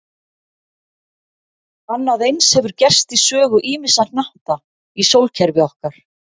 Annað eins hefur gerst í sögu ýmissa hnatta í sólkerfi okkar.